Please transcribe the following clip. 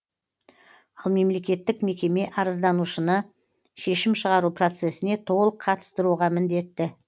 ал мемлекеттік мекеме арызданушыны шешім шығару процесіне толық қатыстыруға міндетті